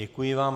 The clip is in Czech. Děkuji vám.